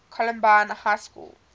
columbine high school